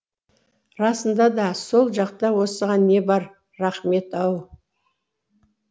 расында да сол жақта осыған не бар рахмет ау